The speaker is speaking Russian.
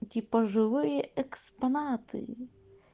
типа живые экспонаты